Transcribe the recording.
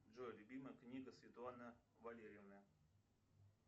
джой любимая книга светлана валерьевна